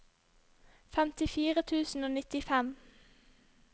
femtifire tusen og nittifem